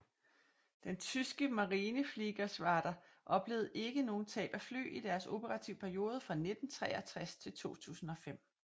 Den tyske Marinefliegergeschwader oplevede ikke nogle tab af fly i deres operative periode fra 1963 til 2005